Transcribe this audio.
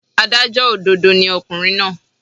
Adájọ́ òdodo ni ọkùnrin náà.